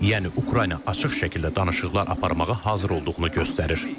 Yəni Ukrayna açıq şəkildə danışıqlar aparmağa hazır olduğunu göstərir.